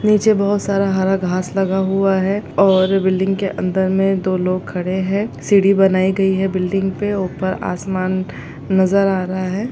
नीचे बहुत सारा हरा घाँस लगा हुआ है और बिल्डिंग के अंदर में दो लोग खड़े हैं सीढ़ी बनाई गई हैं बिल्डिंग पे ऊपर आसमान नज़र आ रहा है।